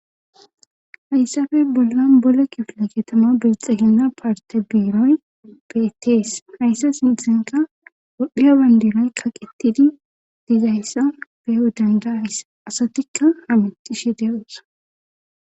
hayssafe bollan bole kifila ketama bixehina parte biiroy beetees hayssa sinthenka todhdhiya bandinay kaqittidi dizayssa beyo dandaayss asatikka hamixishe de,osonaa